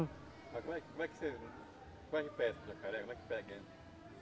Mas como é como é que você como é que pesca o jacaré? Como é que pega ele?